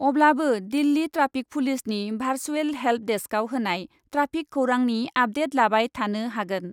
अब्लाबो दिल्ली ट्राफिक पुलिसनि virtual help डेस्कआव होनाय ट्राफिक खौरांनि आपडेट लाबाय थानो हागोन ।